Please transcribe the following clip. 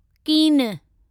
कीन